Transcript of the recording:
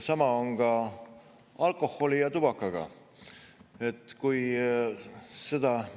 Sama on alkoholi- ja tubaka.